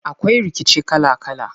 Akwai rikici kala kala.